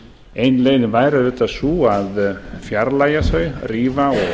ein leiðin væri auðvitað sú að fjarlægja það rífa